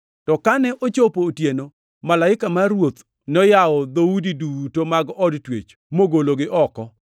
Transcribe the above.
To kane ochopo otieno, malaika mar Ruoth noyawo dhoudi duto mag od twech mogologi oko.